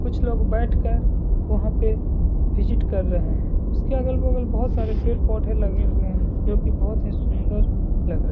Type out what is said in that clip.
कुछ लोग बैठ कर वहां पे विजिट कर रहे हैं। उसके अगल-बगल बहोत सारे पेड़-पौधे लगे हुऐ हैं जो कि बहोत ही सुन्दर लग रहे --